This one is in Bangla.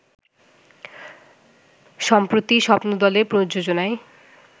সম্প্রতি স্বপ্নদলের প্রযোজনায়